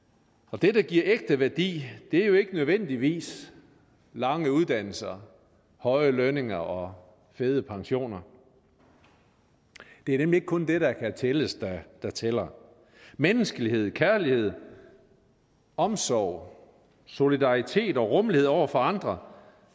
det der giver ægte værdi er jo ikke nødvendigvis lange uddannelser høje lønninger og fede pensioner det er nemlig ikke kun det der kan tælles der tæller menneskelighed kærlighed omsorg solidaritet og rummelighed over for andre